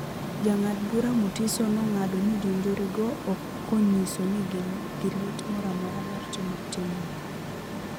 Jangad bura Mutiso nong'ado ni jonjore go okonyisa ni gin gi lit moramora mar timo timno no.